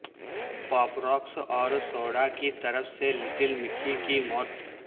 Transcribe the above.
پاپ Rocks اور soda کی طرف سے لٹل مکی کی موت